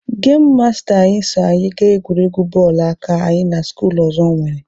Gemụ masta anyị so anyị gaa egwuregwu bọọlụ aka anyị na skuulu ọzọ nwere.